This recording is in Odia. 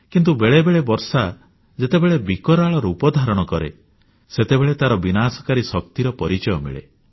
କିନ୍ତୁ ବେଳେବେଳେ ବର୍ଷା ଯେତେବେଳେ ବିକଟାଳ ରୂପ ଧାରଣ କରେ ସେତେବେଳେ ତାର ବିନାଶକାରୀ ଶକ୍ତିର ପରିଚୟ ମିଳେ